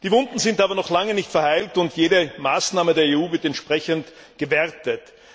Die Wunden sind aber noch lange nicht verheilt, und jede Maßnahme der EU wird entsprechend gewertet.